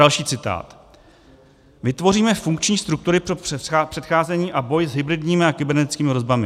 Další citát: "Vytvoříme funkční struktury pro předcházení a boj s hybridními a kybernetickými hrozbami."